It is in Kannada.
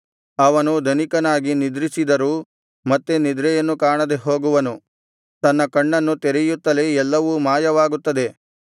ಅವನು ಧನಿಕನಾಗಿ ನಿದ್ರಿಸಿದರೂ ಮತ್ತೆ ನಿದ್ರೆಯನ್ನು ಕಾಣದೆ ಹೋಗುವನು ತನ್ನ ಕಣ್ಣನ್ನು ತೆರೆಯುತ್ತಲೇ ಎಲ್ಲವೂ ಮಾಯವಾಗುತ್ತದೆ